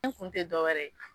kun ti dɔwɛrɛ ye